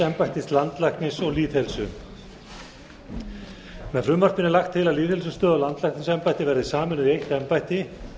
embættis landlækni og lýðheilsu með frumvarpinu er lagt til að lýðheilsustöð og landlæknisembættið verði sameinuð í eitt embætti